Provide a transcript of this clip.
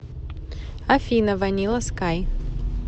афина ванила скай